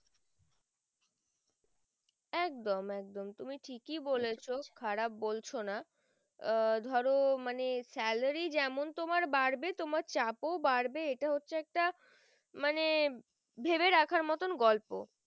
একদম একদম তুমি ঠিকি বলেছো খারাপ বলছো না আহ ধরো মানে salary তোমার যেমন বাড়বে তোমার চাপ ও বাড়বে ইটা হচ্ছে একটা মানে ভেবে রাখার মতন গল্প